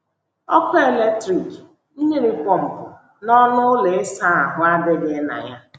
Ọkụ eletrik, mmiri pọmpụ, na ọnụ ụlọ ịsa ahụ́ adịghị na ya.